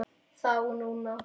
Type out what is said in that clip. Þá og núna.